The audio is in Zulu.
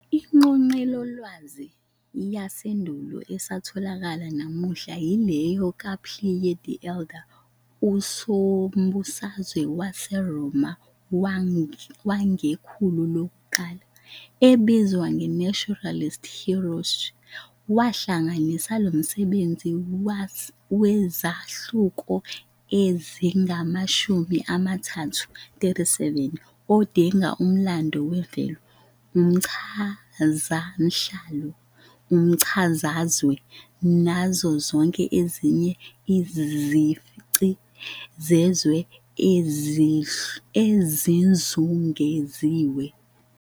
INgqoqelolwazi yasendulo esatholakala namuhla yileyo kaPliny the Elder, usombusazwe waseRoma wangekhulu lokuqala, ebizwa "Naturalis Historia". Wahlanganisa lomsebenzi wezahluko ezingamashumi amathathu, 37, odingida ngomlando wemvelo, umchazamhlaba, umchazazwe, nazo zonke ezinye izici zezwe ezimzungezile.